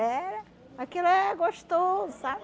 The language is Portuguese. Era, aquilo é gostoso, sabe?